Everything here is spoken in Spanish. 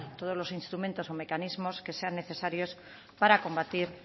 todos los instrumentos o mecanismos que sean necesarios para combatir